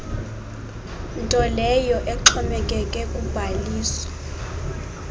ntoleyo exhomekeke kubhaliso